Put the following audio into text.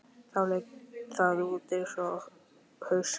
Þá leit það út eins og haus.